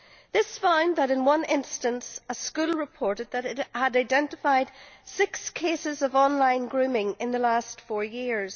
This found that, in one instance, a school reported it had identified six cases of online grooming in the last four years.